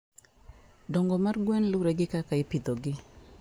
dongo mar gwen lure gi kaka ipidhogi